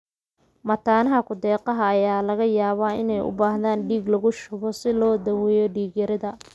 Mataanaha ku-deeqaha ayaa laga yaabaa inay u baahdaan dhiig lagu shubo si loo daweeyo dhiig-yarida.